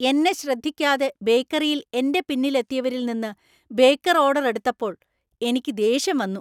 എന്നെ ശ്രദ്ധിക്കാതെ ബേക്കറിയിൽ എന്‍റെ പിന്നിൽ എത്തിയവരിൽ നിന്ന് ബേക്കർ ഓർഡർ എടുത്തപ്പോൾ എനിക്ക് ദേഷ്യം വന്നു .